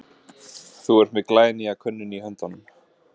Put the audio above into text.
Þú ert með glænýja könnun í höndunum?